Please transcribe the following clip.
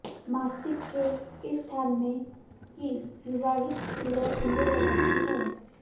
मस्तिष्क के इस स्थान में ही विवाहित स्त्रियां सिंदूर लगाती हैं